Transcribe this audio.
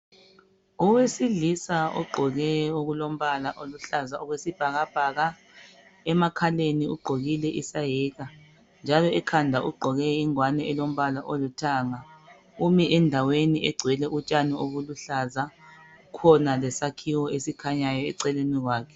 Owesilisa ogqoke okombala oluhlaza okwesibhakabhaka emakhaleni ugqokile isayeke , njalo ekhanda ugqoke ingwane elombala olithanga umile ndaweni egcwele utshani obuluhlaza, kukhona lesakhiwo esikhanyayo eceleni kwakhe.